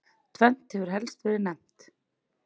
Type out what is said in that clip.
Tvennt hefur helst verið nefnt.